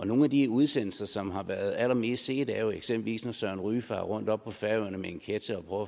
nogle af de udsendelser som har været allermest set er jo eksempelvis når søren ryge farer rundt oppe på færøerne med en ketcher og